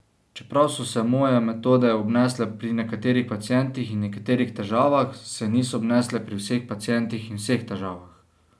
Čeprav so se moje metode obnesle pri nekaterih pacientih in nekaterih težavah, se niso obnesle pri vseh pacientih in vseh težavah.